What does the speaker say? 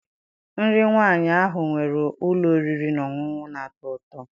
Nri nwaanyị ahụ nwere ụlọ oriri na ọṅụṅụ na- atọ ụtọ.